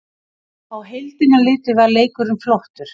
Á heildina litið var leikurinn flottur